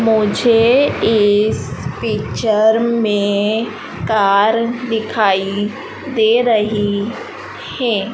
मुझे इस पिक्चर में कार दिखाई दे रही है।